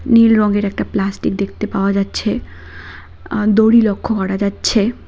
নীল রঙের একটা প্লাস্টিক দেখতে পাওয়া যাচ্ছে আ দড়ি লক্ষ্য করা যাচ্ছে।